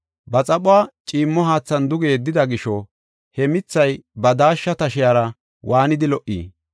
Ba xaphuwa ciimmo haathan duge yeddida gisho he mithay ba daashsha tashiyara waanidi lo77i!